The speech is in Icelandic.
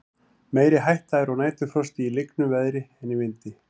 meiri hætta er á næturfrosti í lygnu veðri en í vindi